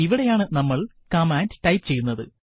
ഇവിടെയാണ് നമ്മൾ കമാൻഡ് ടൈപ്പുചെയ്യേണ്ടുന്നത്